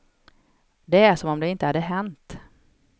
Det är som om det inte hade hänt.